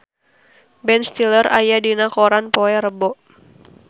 Ben Stiller aya dina koran poe Rebo